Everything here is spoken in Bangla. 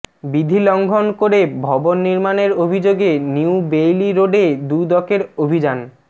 বিধি লঙ্ঘন করে ভবন নির্মাণের অভিযোগে নিউ বেইলি রোডে দুদকের অভিযান